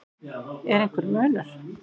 Er einhver munur?